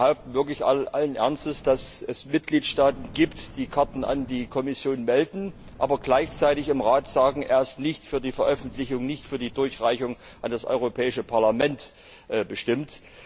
Sie behaupten wirklich allen Ernstes, dass es Mitgliedstaaten gibt, die Karten an die Kommission melden, aber gleichzeitig im Rat sagen, das sei nicht für die Veröffentlichung und nicht für die Durchreichung an das Europäische Parlament bestimmt.